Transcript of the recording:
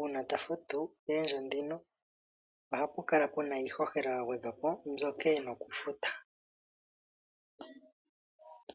uuna ta futu oondjo ndhino, ohapu kala puna iihohela ya gwedhwa po mbyoka e na oku futa.